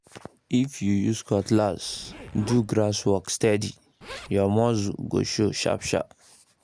if you use cutlass do grass work steady um your muscle go show sharp-sharp